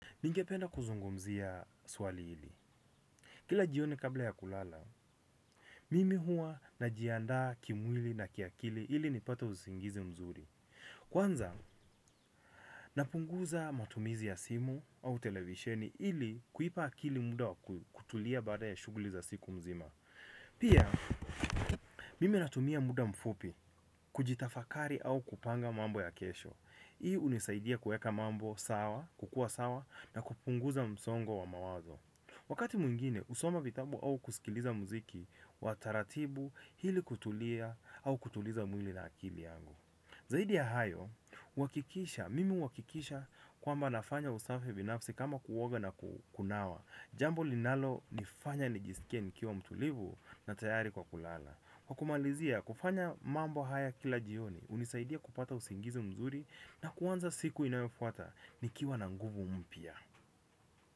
Ningependa kuzungumzia swali hili. Kila jioni kabla ya kulala, mimi hua najiandaa kimwili na kiakili hili nipate usingizi mzuri. Kwanza napunguza matumizi ya simu au televisheni ili kuipa akili muda wa kutulia baada ya shugli za wiki nzima. Pia, mimi natumia muda mfupi kujitafakari au kupanga mambo ya kesho. Hii unisaidia kueka mambo sawa, kukua sawa na kupunguza msongo wa mawazo. Wakati mwingine, usoma vitabu au kusikiliza muziki wa taratibu, hili kutulia au kutuliza mwili na akili yangu. Zaidi ya hayo, huwakikisha, mimi huwakikisha kwamba nafanya usafe vinafsi kama kuwoga na kukunawa. Jambo linalo nifanya nijisikie nikiwa mtulivu na tayari kwa kulala. Kwa kumalizia, kufanya mambo haya kila jioni, unisaidia kupata usingizi mzuri na kuwanza siku inayofuata nikiwa na nguvu mpya.